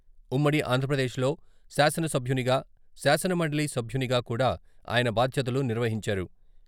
ఉమ్మడి ఆంధ్రప్రదేశ్‌లో శాసన సభ్యునిగా, శాసన మండలి సభ్యునిగా కూడా ఆయన బాధ్యతలు నిర్వహించారు.